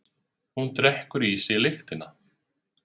Hún drekkur í sig lyktina.